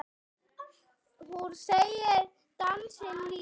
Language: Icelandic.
Hún segir dansinn lífið.